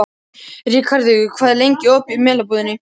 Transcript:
Rikharður, hvað er lengi opið í Melabúðinni?